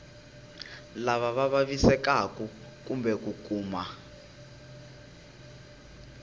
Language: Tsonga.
lava vavisekaku kumbe ku kuma